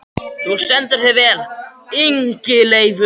Þú stendur þig vel, Ingileifur!